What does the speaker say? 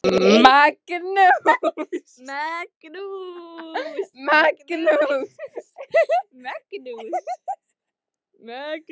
Magnús: Er gaman að taka þátt í svona verkefni?